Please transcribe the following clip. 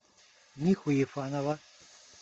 миху ефанова